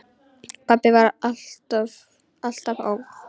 Pabbi var alltaf ógn.